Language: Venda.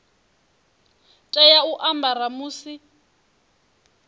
tea u a ambara musi